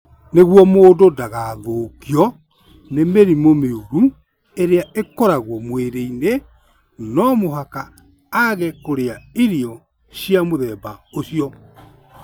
Nĩguo mũndũ ndagathũkio nĩ mĩrimũ mĩũru ĩrĩa ĩkoragwo mwĩrĩ-inĩ, no mũhaka aage kũrĩa irio cia mũthemba ũcio.